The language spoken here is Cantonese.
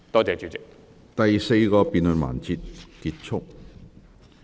第四個辯論環節結束。